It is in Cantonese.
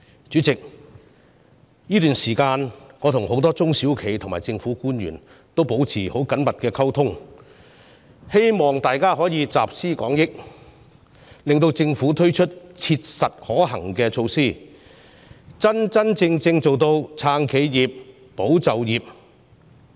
主席，這段時間我跟很多中小企和政府官員保持緊密溝通，希望集思廣益，向政府建議切實可行的措施，真正做到"撐企業、保就業"的目標。